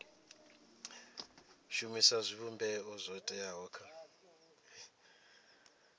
shumisa zwivhumbeo zwo teaho kha